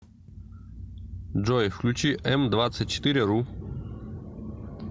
джой включи эм двадцать четыре ру